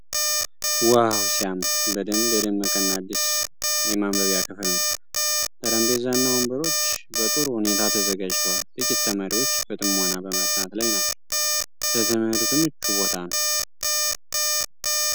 ዋው ሲያምር! በደንብ የደመቀ እና አዲስ የማንበቢያ ክፍል ነው ። ጠረጴዛና ወንበሮች በጥሩ ሁኔታ ተዘጋጅተዋል። ጥቂት ተማሪዎች በጥሞና በማጥናት ላይ ናቸው። ለትምህርት ምቹ ቦታ ነው!!።